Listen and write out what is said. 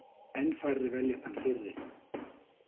Enn færri velja þann fyrri.